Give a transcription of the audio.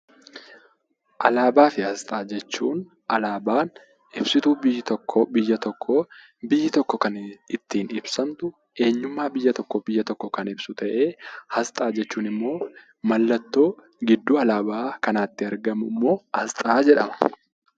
Alaabaa fi asxaa jechuun alaabaan ibsituu biyya tokkoo, biyyi tokko kan ittiin ibsamtu eenyummaa biyya tokko kan ibsu ta'ee, asxaa jechuun immoo mallattoo gidduu alaabaa kanaatti argamu immoo asxaa jedhama.